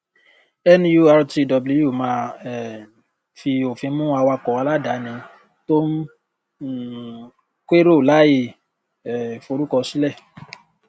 nurtw máa um fi òfin mú awakọ aláàdáni tó ń um kérò láì um forúkọ sílẹ